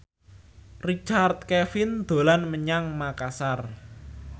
Richard Kevin dolan menyang Makasar